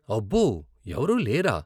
అబ్బో, ఎవరూ లేరా ?